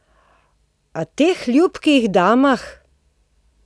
Ali teh ljubkih damah?